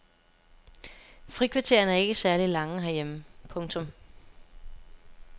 Frikvartererne er ikke særlig lange herhjemme. punktum